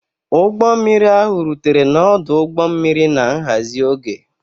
Ụgbọ mmiri ahụ rutere n'ọdụ ụgbọ mmiri na nhazi oge.